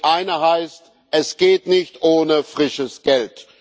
Die eine heißt Es geht nicht ohne frisches Geld.